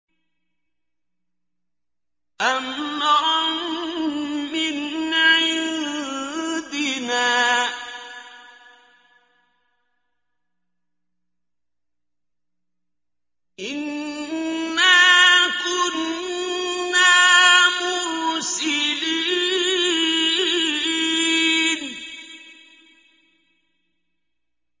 أَمْرًا مِّنْ عِندِنَا ۚ إِنَّا كُنَّا مُرْسِلِينَ